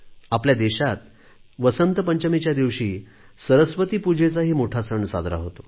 आपल्या देशात वसंत पंचमीच्या दिवशी सरस्वती पूजेचा मोठा सण साजरा होतो